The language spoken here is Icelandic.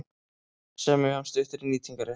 Semja um styttri nýtingarrétt